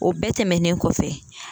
O bɛɛ tɛmɛnen kɔfɛ.